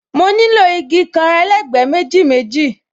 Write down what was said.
Mo nílò igi kan, elegbe méjì méjì